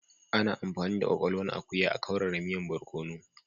Ana amfani da kwakwalwan akuya a'kaurara miyan borkonu.